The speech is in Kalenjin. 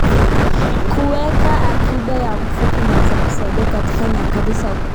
Kuweka akiba ya mvua kunaweza kusaidia katika nyakati za ukame.